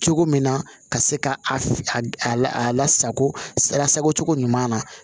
Cogo min na ka se ka a lasago sarako cogo ɲuman na